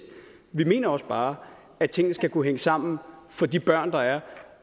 vi mener også bare at tingene skal kunne hænge sammen for de børn der er